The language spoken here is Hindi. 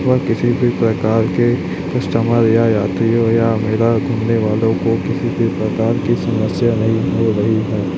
व किसी भी प्रकार के कस्टमर या यात्रियों या मेला घूमने वालों को किसी भी प्रकार की समस्या नहीं हो रही है।